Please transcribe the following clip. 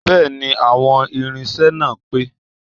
Bẹ́ẹ̀ni, àwọn irinṣẹ́ náà pé